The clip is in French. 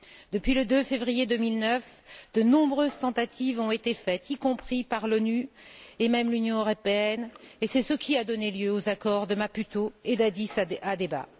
Depuis le 2 février 2009, de nombreuses tentatives ont été faites, y compris par l'ONU et même l'Union européenne, et c'est ce qui a donné lieu aux accords de Maputo et d'Addis Abeba.